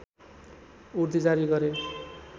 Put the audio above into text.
उर्दी जारी गरे